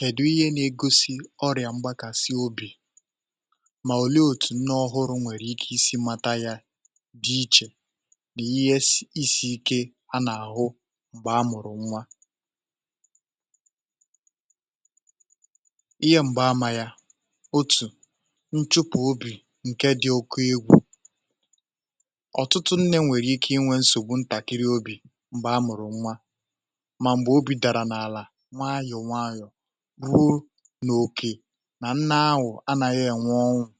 Kèdu ihe na-egosi ọrịà mgbakàsị obì mà òli otù nnọ ọhụrụ̇ nwèrè ike isi mata yà dị ichè nà ihe isi ike anà-àhụ m̀gbè a mụ̀rụ̀ nwa ihe m̀gbaama yà otù nchupù obì ǹke dị oke egwù ọ̀tụtụ nnė nwèrè ike inwė nsògbu ntàkiri obì m̀gbè a mụ̀rụ̀ nwa nwayọ̀ nwayọ̀ wuu n’òkè nà nna awụ̀ anȧghị ènwụ ọnwụ̇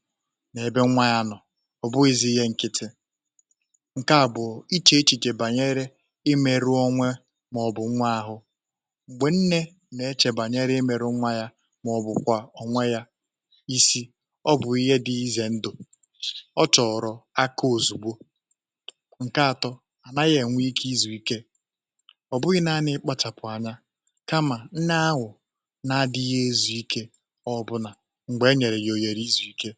n’ebe nwa yà nọ̀ ọ̀ bụghịzị ihe nkịtị nke à bụ̀ ichè ichè bànyere i meru onwe màọ̀bụ̀ nwa ahụ̀ m̀gbè nne nà-echèbànyere i meru nwa yà màọ̀bụ̀ kwà onwe yà isi ọ bụ̀ ihe dị ịzè ndụ̀ ọ chọ̀rọ̀ aka òzùgbo nke atọ à naghị ènwe ike izùike um kamà nne ahụ̀ na-adịghị ịzụ̇ ikė ọbụlà m̀gbè e nyèrè yà òyèrè ịzụ̇ ikė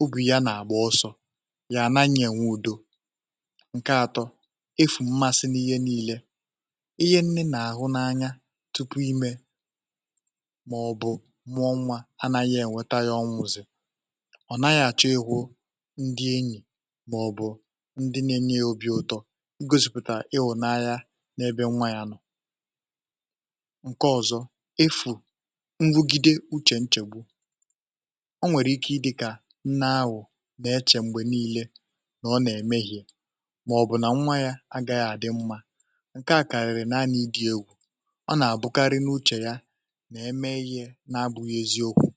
obù ya nà àgbọ ọsọ̇ yà na ya na-ènwe udo nke atọ efù mmasị n’ihe niilė ihe nne nà àhụ n’anya tupu imė mà ọ̀ bụ̀ nwụọ nwȧ anȧghị ènweta ya ọnwụ̇ zì ọ̀ naghị̇ àchọ egwu ndị enyì mà ọ̀ bụ̀ ndị nȧ-enye obi̇ ụtọ m̀gosìpùtà ịhụ̇ n’ebe nwa ya nọ̀ nke ọ̀zọ efu nrugide uchè nchègbu o nwèrè ike i dị̇kà nne awụ̀ na-echè m̀gbè niilė nà ọ nà-ème ihe màọ̀bụ̀ nà nwa ya agaghị à dị mmȧ nke à karịrị naanị dị egwù um ọ nà-àbụkarị n’uchè ya nà-eme ihe na-abụghị eziokwu̇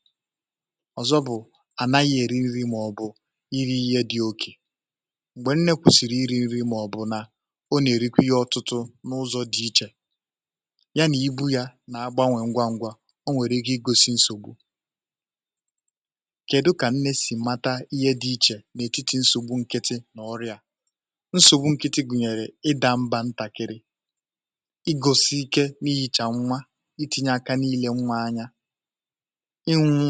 ọ̀zọ bụ̀ ànaghị eri nri̇ màọ̀bụ̀ iri ihe dị̇ oke m̀gbè nne kwùsiri iri nri̇ um màọ̀bụ̀ nà o nà-èrikwi ya ọtụtụ n’ụzọ dị ichè na-agbanwè ngwa ngwa o nwèrè gi gosi nsògbu kèdụ kà nne si mata ihė dị ichè n’etiti nsògbu nkịtị nà ọrịà nsògbu nkịtị gụ̀nyèrè ịda mbȧ ntàkịrị i gosi ike n’ihi̇ chà nwa i tinye aka niile nwa anya ịnwụ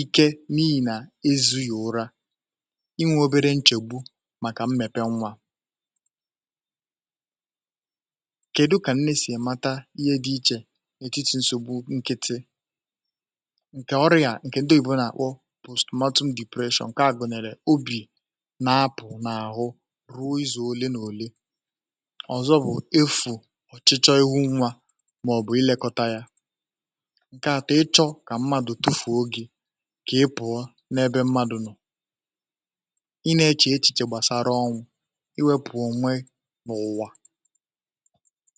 ike n’ihi̇ nà ezuyo ụra ịnwụ̇ obere nchègbu màkà m mepe nwa n’etiti nsògbu nkịtị nke ọrịà ǹkè ndị ìbò nà-àkpọ postmatum depression um nke a gùnèrè obì nà-apụ n’àhụ ruo izù ole nà òle ọ̀zọ bụ̀ efù ọ̀chịchọ ihu nwa màọ̀bụ̀ ilekọta yà nke àtụ̀ ịchọ kà mmadù bufù ogè um kà e pụ̀ọ n’ebe mmadù nọ̀ịnė kà echìchè gbàsara ọnwụ̇ iwė pụ̀ọ nwe n’ụ̀wà.